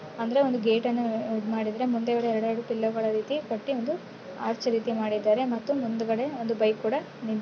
ಅಂದ್ರೆ ಒಂದ್ ಗೇಟ್ ಅನ್ನ ಅಹ್ ಈದ್ ಮಾಡಿದ್ರೆ ಮುಂದೆಗಡೆ ಎರಡ್-ಎರಡು ಪಿಲ್ಲರ್ ಗಳ ರೀತಿ ಕಟ್ಟಿ ಒಂದು ಆರ್ಚ್ ರೀತಿ ಮಾಡಿದ್ದಾರೆ. ಮತ್ತು ಮುಂದ್ಗಡೆ ಒಂದು ಬೈಕ್ ಕೂಡ ನಿಂತ್--